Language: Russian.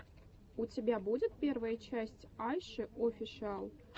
у тебя будет первая часть айши офишиал